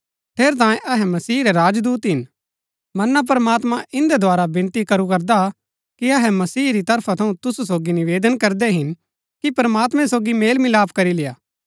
ठेरैतांये अहै मसीह रै राजदूत हिन मना प्रमात्मां इन्दै द्धारा विनती करू करदा हा कि अहै मसीह री तरफा थऊँ तुसु सोगी निवेदन करदै हिन कि प्रमात्मैं सोगी मेलमिलाप करी लेय्आ